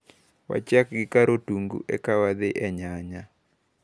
Wachak gi kar otungu eka wadhi e nyanya.